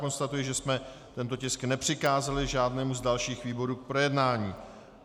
Konstatuji, že jsme tento tisk nepřikázali žádnému z dalších výborů k projednání.